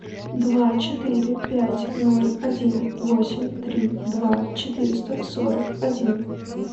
два четыре пять ноль один восемь три два четыреста сорок один